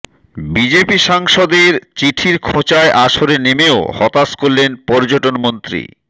BJP সাংসদের চিঠির খোঁচায় আসরে নেমেও হতাশ করলেন পর্যটন মন্ত্রী